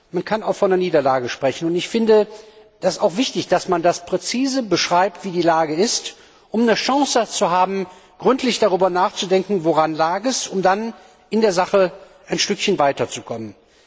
Man kann auch von einer Niederlage sprechen. Es ist wichtig, dass man präzise beschreibt, wie die Lage ist, um eine Chance zu haben, gründlich darüber nachzudenken, woran es lag, um dann in der Sache ein Stückchen weiterzukommen.